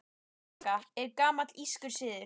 Hrekkjavaka er gamall írskur siður.